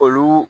Olu